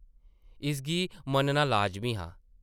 इसगी मन्नना लाज़मी हा ।